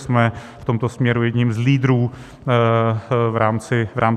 Jsme v tomto směru jedni z lídrů v rámci Evropy.